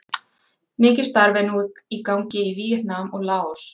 Mikið starf er nú í gangi í Víetnam og Laos.